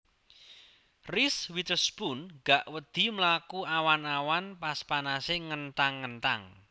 Reese Witherspoon gak wedi mlaku awan awan pas panase ngenthang ngenthang